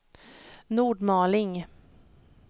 Nordmaling